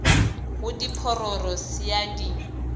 go diphororo se a di